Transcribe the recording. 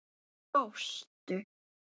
Þá hlóstu.